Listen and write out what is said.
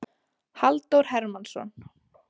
Halldór Hermannsson.